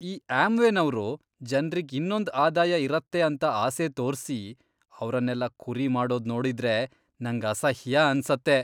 ಈ ಆಮ್ವೇನೋರು ಜನ್ರಿಗ್ ಇನ್ನೊಂದ್ ಆದಾಯ ಇರತ್ತೆ ಅಂತ ಆಸೆ ತೋರ್ಸಿ, ಅವ್ರನ್ನೆಲ್ಲ ಕುರಿ ಮಾಡೋದ್ ನೋಡಿದ್ರೆ ನಂಗ್ ಅಸಹ್ಯ ಅನ್ಸತ್ತೆ.